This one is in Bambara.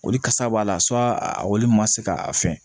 Olu kasa b'a la a olu ma se ka a fɛn